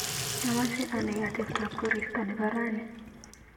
Amache anai ateptap korista nebo rani.